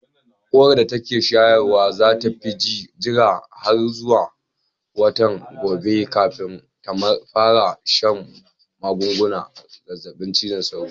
Uwar da ke shayarwan za ta jira har zuwa watan gobe kafin ta fara shan magungunan zazzabin cizon sauro.